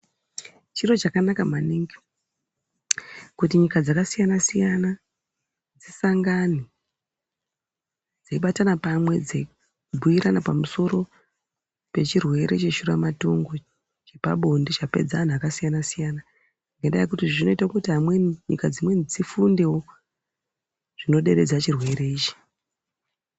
Chiro chakanaka maningi kuti nyika dzakasiyana-siyana dzisangane dzeibatana pamwe dzeibhuirana pamusoro pechireere cheshuramatongo chepabonde chapedza anhu akasiyana-siyana ngendaa yekuti zvinoita kuti amweni, nyika dzimweni dzifundewo zvinoderedza chirwere ichi.